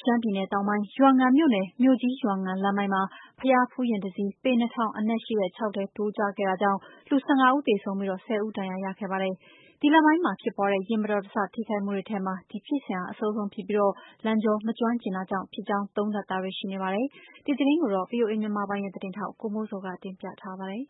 ရှမ်းပြည်နယ်တောင်ပိုင်း ရွာငံမြို့နယ် မြို့ကြီး-ရွာငံလမ်းပိုင်းမှာ ဘုရားဖူးယာဉ်တစ်စီး ပေ ၂၀၀၀အနက်ရှိ ချောက်ထဲ ထိုးကျခဲ့တာကြောင့် လူ ၁၅ဦးသေဆုံးပြီး ၁၀ဦးထိခိုက်ဒဏ်ရာရခဲ့ပါတယ်။ ဒီလမ်းပိုင်းမှာဖြစ်ပွားတဲ့ ယာဉ်မတော်တဆထိခိုက်မှုတွေထဲမှာ ဒီဖြစ်စဉ်ဟာ အဆိုးဆုံးဖြစ်ပြီး လမ်းကြောမကျွမ်းကျင်တာကြောင့် ဖြစ်ကြောင်း သုံးသပ်တာတွေ ရှိနေပါတယ်။ ဒီသတင်းကိုတော့ ဗွီအိုအေမြန်မာပိုင်းရဲ့သတင်းထောက် ကိုမိုးဇော်က တင်ပြထားပါတယ်။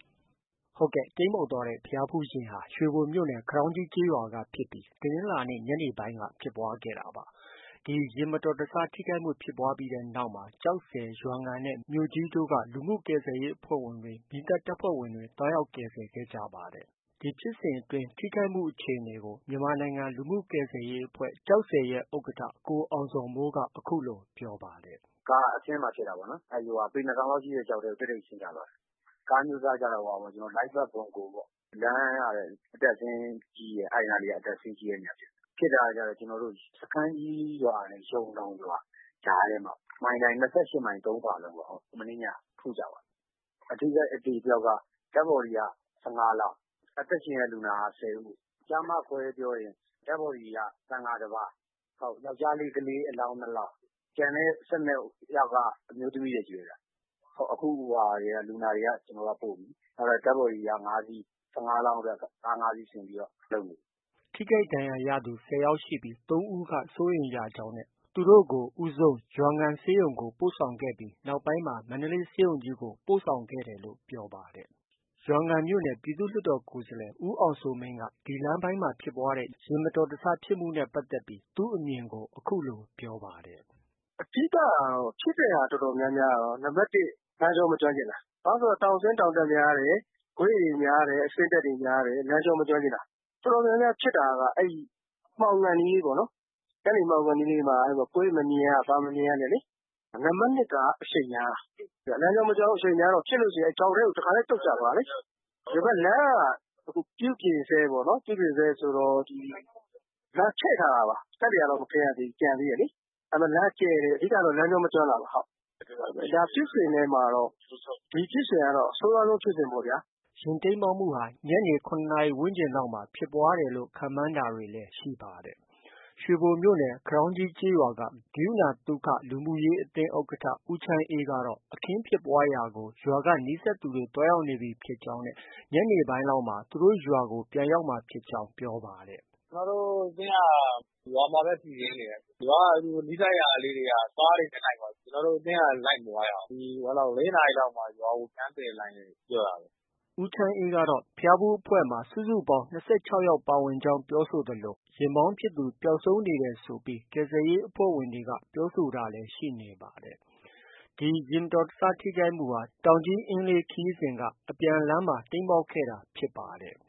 တိမ်းမှောက်ခဲ့တဲ့ ဘုရားဖူးယာဉ်ဟာ ရွှေဘိုမြို့နယ် ခွန်တောင်းကြီးကျေးရွာက ဖြစ်ပြီး တနင်္လာနေ့ ညနေပိုင်းမှာ ဖြစ်ပွားခဲ့တာပါ။ ဒီယာဉ်မတော်တဆဖြစ်ပွားမှုဖြစ်ပွားပြီးနောက်မှာ ကျောက်ဆည်၊ ရွာငံနဲ့ မြို့ကြီးတို့က လူမှုကူညီရေးအဖွဲ့တွေ၊ မီးသတ်တပ်ဖွဲ့ဝင်တွေ သွားရောက် ကူညီကယ်ဆယ်ခဲ့ကြပါတယ်။ ဒီဖြစ်စဉ်အတွင်း ထိခိုက်မှုအခြေအနေကို မြန်မာနိုင်ငံလူမှုကယ်ဆယ်ရေးအဖွဲ့ ရဲ့ ဥက္ကဌ ကိုအောင်ဇော်မိုးက အခုလို ပြောပါတယ်။ “ ကားက အဆင်းမှာဖြစ်တာပေါ့နော်။ ပေ ၂၀၀၀ လောက်ရှိတဲ့ ချောက်ထဲကို တည့်တည့်ကြီး ဆင်းချသွားတာ။ ကားအမျိုးအစားကတော့ Light truck Bongo ပေါ့။ လမ်းက အတက်အဆင်း ကြီးတယ်။ အဲဒီနားလေးက အတက်အဆင်းကြီးတဲ့နေရာဖြစ်တယ်။ ဖြစ်တာကကျ စခန်းကြီးရွာနဲ့ ယုန်တောင်ရွာကြားထဲမှာ မိုင်တိုင် ၂၈မိုင် ၃ဖာလုံပေါ့။ မနေ့ညက ထိုးကျသွားတာ။ အထိခိုက် အသေအပျောက်က Dead body က ၁၅လောင်း။ အသက်ရှင်လျက်လူနာက ၁၀ဦး။ ကျား၊ မခွဲပြောရင် Dead body က သံဃာတစ်ပါး။ ယောကျ်ားလေး ကလေးအလောင်း ၂လောင်း၊ ကျန်တဲ့ ၁၂ယောက်က အမျိုးသမီးတွေချည်းပဲဗျ။ အခု လူနာတွေက ကျနော်တို့က ပို့ပြီ။ Dead body တွေက ၅စီး။ ၁၅လောင်းအတွက် ကား ၅စီးစီစဉ်ပြီးတော့ လုပ်နေပြီ။ ” ထိခိုက်ဒဏ်ရာ ရသူ ၁၀ဦးရှိပြီး ၃ဦးက စိုးရိမ်ရကြောင်းနဲ့ သူတို့ကို ဦးဆုံး ရွာငံဆေးရုံကို ပို့ဆောင်ခဲ့ပြီး နောက်ပိုင်းမှာ မန္တလေးဆေးရုံကြီးကို ပို့ဆောင်ခဲ့တယ်လို့ ပြောပါတယ်။ ရွာငံမြို့နယ် ပြည်သူ့လွှတ်တော်ကိုယ်စားလှယ် ဦးအောင်စိုးမင်းက ဒီလမ်းပိုင်းမှာ ဖြစ်ပွားတဲ့ ယာဉ်မတော်တဆဖြစ်မှုတွေနဲ့ပတ်သက်ပြီး သူ့အမြင်ကို အခုလို ပြောပါတယ်။ “ အဓိက ဖြစ်တဲ့ဟာ တော်တော်များများကတော့ နံပတ်တစ် လမ်းကြော မကျွမ်းကျင်တာ။ ဘာလို့လည်းဆိုတော့ တောင်ဆင်း၊ တောင်တက်များတယ်။ ကွေ့တွေများတယ်၊ အဆင်းအတက်တွေများတယ်။ လမ်းကြော မကျွမ်းကျင်တာ။တော်တော်များများဖြစ်တာက အဲဒီ မှောင်ခါနီးလေးပေါ့နော်။ အဲဒီမှောင်ခါနီးလေးမှာ ကွေ့မမြင်ရ ဘာမမြင်ရနဲ့လေ။ နံပတ်၂က အရှိန်များတာ။ လမ်းကြော မကျွမ်းဘူး၊ အရှိန်များတော့ ဖြစ်လို့ရင် တစ်ခါတည်း ချောက်ထဲ ပြုတ်ကျသွားတာ။ ဒီဘက် လမ်းက ပြုပြင်ဆဲပေါ့။ အခုပြုပြင်ဆဲဆိုတော့ ဒီ လမ်းက ချဲ့ထားတာ ကတ္တရာတောင် မခင်းရသေးဘူး။ ကျန်သေးတယ်လေ။ ဒါပေမဲ့ လမ်းက ကျယ်တယ်။ အဓိကကတော့ လမ်းကြောမကျွမ်းတာပါ။ ဖြစ်စဉ်ထဲမှာတော့ ဒီဖြစ်စဉ်က အဆိုးရွားဆုံးဖြစ်စဉ်ပေါ့ဗျာ။” ဒီယာဉ်တိမ်းမှောက်မှုဟာ ညနေ ၇နာရီ ဝန်းကျင်လောက်မှာ ဖြစ်ပွားခန့်မှန်းတာတွေလည်း ရှိပါတယ်။ ရွှေဘိုမြို့နယ် ခွန်တောင်းကြီးကျေးရွာက ကရုဏာသုခ လူမှုရေးအသင်း ဥက္ကဌ ဦးချမ်းအေးကတော့ အခင်းဖြစ်ပွားရာကို ရွာက နီးစပ်သူတွေ သွားရောက်နေပြီဖြစ်ကြောင်းနဲ့ ညနေပိုင်းလောက်မှ သူတို့ရွာကို ရောက်မှာဖြစ်ကြောင်း ပြောပါတယ်။ “ကျနော်တို့ အသင်းက ရွာမှာပဲ စီစဉ်နေတယ်။ ရွာက သူတို့ နီးစပ်ရာလေးတွေက သူတို့ ကားတွေနဲ့ လိုက်သွားပြီ။ ကျနော်တို့အသင်းက လိုက်မသွားရဘူး။ ၄နာရီလောက်မှ ရွာကို ပြန်သယ်နိုင်မယ် ပြောတာပဲ။” ဦးချမ်းအေးကတော့ ဘုရားဖူး အဖွဲ့မှာ ၂၆ယောက်ဖြစ်ကြောင်း ပြောဆိုသလို ယာဉ်မောင်းဖြစ်သူ ပျောက်ဆုံးနေတယ်ဆိုပြီး ကယ်ဆယ်ရေးအဖွဲ့ဝင်တွေက ပြောဆိုတာတွေလည်း ရှိနေပါတယ်။ ဒီယာဉ်မတော်တဆထိခိုက်မှုဟာ တောင်ကြီး-အင်းလေးခရီးစဉ်က အပြန်လမ်းမှာ တိမ်းမှောက်ခဲ့ တာဖြစ်ပါတယ်။